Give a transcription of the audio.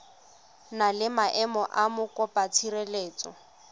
na le maemo a mokopatshireletso